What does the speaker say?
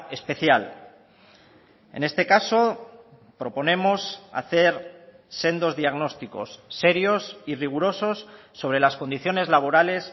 especial en este caso proponemos hacer sendos diagnósticos serios y rigurosos sobre las condiciones laborales